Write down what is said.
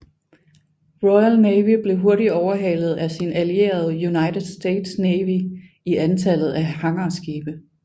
Royal Navy blev hurtigt overhalet af sin allierede United States Navy i antallet af hangarskibe